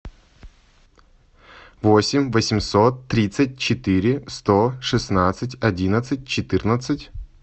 восемь восемьсот тридцать четыре сто шестнадцать одиннадцать четырнадцать